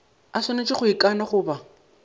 a swanetše go ikana goba